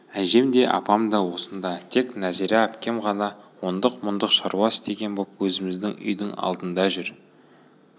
әжем де апам да осында еді тек нәзира әпкем ғана ондық-мұндық шаруа істеген боп өзіміздің үйдің алдында жүр